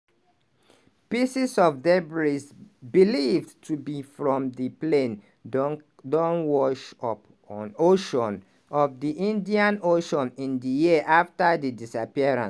pieces of debris believed to be from di plane don wash up on ocean of di indian ocean in di years afta di disappearance.